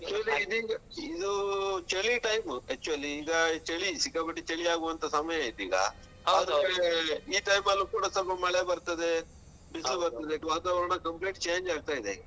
Actually ಇದೀಗ ಇದು ಚಳಿ time actually ಈಗ ಚಳಿ ಸಿಕ್ಕಾಪಟಿ ಚಳಿಯಾಗುವಂತ ಸಮಯ ಇದೀಗ. ಈ time ಅಲ್ಲೂ ಕೂಡ ಸೊಲ್ಪ ಮಳೆ ಬರ್ತದೇ. ಬರ್ತದೇ ವಾತಾವರಣ complete change ಆಗ್ತಾ ಇದೆ.